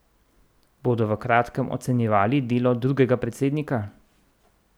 Bodo v kratkem ocenjevali delo drugega predsednika?